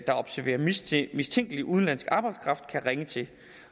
der observerer mistænkelig udenlandsk arbejdskraft kan ringe til